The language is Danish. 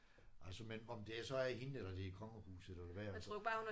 Altså men om det er så er hende eller det er kongehuset eller hvad altså